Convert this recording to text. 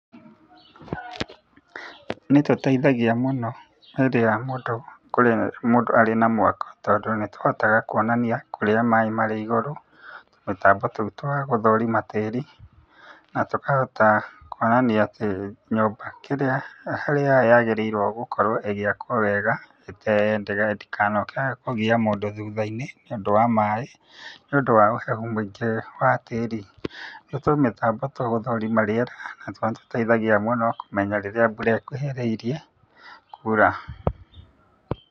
Nĩ tũteithagia mũno rĩrĩa mũndũ kũrĩa mũndũ arĩ na mwako tondũ nĩ tũhotaga kuonania kũrĩa maĩ marĩ igũrũ, tũmĩtambo tou twa gũthũrima tĩri, na tũkahota kuonania atĩ nyũmba kĩrĩa harĩa yagĩrĩire gũkorwo ĩgĩakwo wega ĩte ndĩkanoke kũgia mũndũ thutha-inĩ nĩũndũ wa maĩ, nĩũndũ wa ũhehu mũingĩ wa tĩri. Nĩ tũmĩtambo tũa gũthũrima rĩera, na tũrĩa tũteithia mũno kũmenya rĩrĩa mbura ĩkuhĩrĩirie, kura.